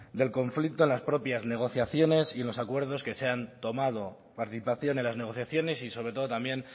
del conflicto en las propias negociaciones y en los acuerdos que se han tomado participación en las negociaciones y sobre todo también